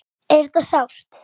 Er þetta sárt?